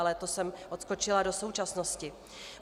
Ale to jsem odskočila do současnosti.